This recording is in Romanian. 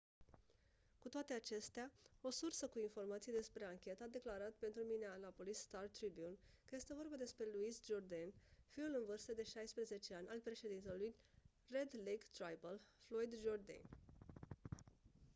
cu toate acestea o sursă cu informații despre anchetă a declarat pentru minneapolis star-tribune că este vorba despre louis jourdain fiul în vârstă de 16 ani al președintelui red lake tribal floyd jourdain